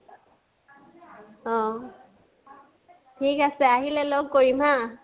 অহ, ঠিক আচে, আহিলে লগ কৰিম হা?